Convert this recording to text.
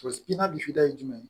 I n'a bifida ye jumɛn ye